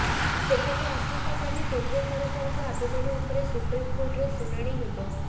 ସେପଟେ ଆସନ୍ତାକାଲି କେନ୍ଦ୍ର ସରକାରଙ୍କ ଆବେଦନ ଉପରେ ସୁପ୍ରିମକୋର୍ଟରେ ଶୁଣାଣି ହେବ